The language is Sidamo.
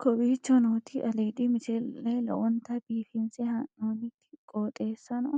kowicho nooti aliidi misile lowonta biifinse haa'noonniti qooxeessano